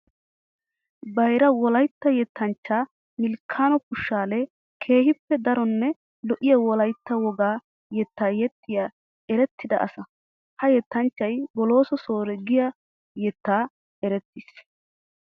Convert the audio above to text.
Bayra wolaytta yettanchcha Milikano Fishale keehippe daronne lo'iya wolaytta woga yetta yexxiya erettidda asaa. Ha yettanchchay Bolooso Soore giya yettan eretisees.